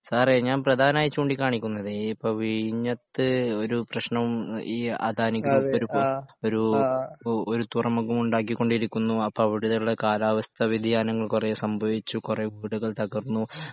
സാറേ ഞാൻ പ്രധാനമായും ചൂണ്ടിക്കാണിക്കുന്നത് ഈ ഇപ്പോ വിഴിഞ്ഞത്ത് ഒരു പ്രശ്നവും ഈ അദാനി ഗ്രൂപ്പ് ഒരു ഒരു ഒരു തുറമുഖം ഉണ്ടാക്കിക്കൊണ്ടിരിക്കുന്നു അപ്പൊ അവിടെയുള്ള കാലാവസ്ഥ വ്യതിയാനങ്ങൾ കൊറെ സംഭവിച്ചു കൊറെ വീടുകൾ തകർന്നു